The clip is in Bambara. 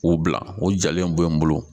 O bila o jalen bɔ n bolo